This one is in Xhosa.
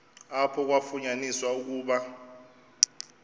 apho kwafunyaniswa ukuba